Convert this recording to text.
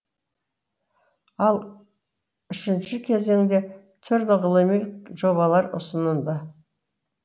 ал үшінші кезеңде түрлі ғылыми жобалар ұсынылды